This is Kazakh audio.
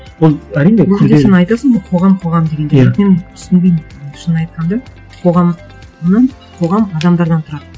ол әрине сен айтасың қоғам қоғам дегенде иә бірақ мен түсінбеймін шынын айтқанда қоғамның қоғам адамдардан тұрады